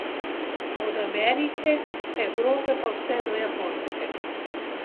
Od Amerike, Evrope pa vse do Japonske.